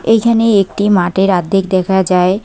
এইখানে একটি মাঠের আর্ধেক দেখা যায়।